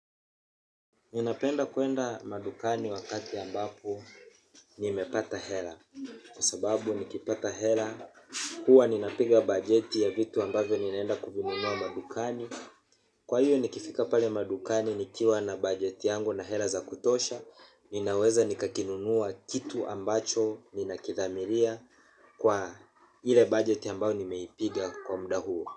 Ninapenda kuenda madukani wakati ambapo nimepata hela. Kwa sababu nikipata hela, huwa ninapiga bajeti ya vitu ambapo ni naenda kuvinunua madukani. Kwa hiyo nikifika pali madukani ni kiwa na bajeti yangu na hela za kutosha, ninaweza nikakinunua kitu ambacho ni nakithamiria kwa ile bajeti ambapo nimeipiga kwa muda huo.